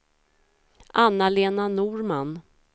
Anna-Lena Norman